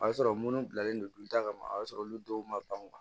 O y'a sɔrɔ minnu bilalen don da kɔnɔ o y'a sɔrɔ olu dɔw man ban